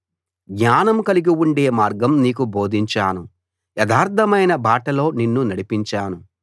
జ్ఞానం కలిగి ఉండే మార్గం నీకు బోధించాను యథార్థమైన బాటలో నిన్ను నడిపించాను